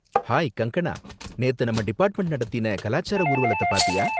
Hi Kangana! நேத்து நம்ம department நடத்தின கலாச்சார ஊர்வலத்த பார்த்தியா?